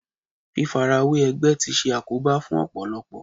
Fífarawé ẹgbẹ́ tí ṣe àkóbá fún Ọ̀pọ̀lọ́pọ̀.